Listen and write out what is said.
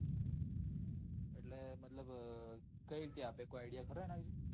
એટલે મતલબ કઈ રીતે આપે કોઈ ખરો એના વિશે